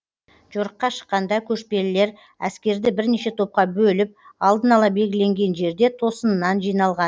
жорыққа шыққанда көшпелілер әскерді бірнеше топқа бөліп алдын ала белгіленген жерде тосыннан жиналған